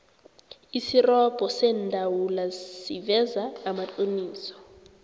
isirobho seendawula siveza amaqiniso